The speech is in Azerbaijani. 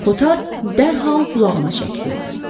Kotar dərhal qulağını çəkliyib.